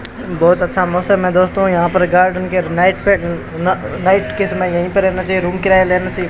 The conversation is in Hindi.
बहोत अच्छा मौसम है दोस्तों यहां पर गार्डन के नाईट पे न नाइट के समय यहीं पर रेहना चाहिए रूम किराया लेना चाहिए।